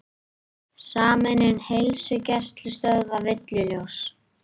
Sameining heilsugæslustöðva villuljós